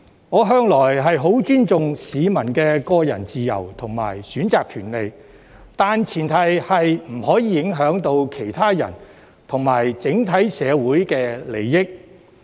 我向來十分尊重市民的個人自由和選擇權利，但前提是不可以影響到其他人和整體社會的利益。